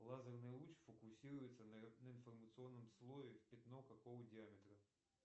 лазерный луч фокусируется на информационном слое в пятно какого диаметра